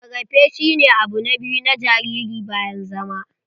Rarrafe shi ne abu na biyu na jariri bayan zama.